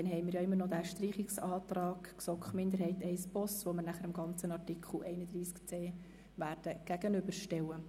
Dann stellen wir den Streichungsantrag der GSoK-Minderheit I/Boss, dem bereinigten Artikel 31c (neu) gegenüber.